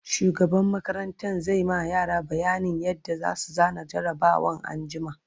shugaban makarantan zai ma yara bayanin yadda zasu zana jarabawan anjima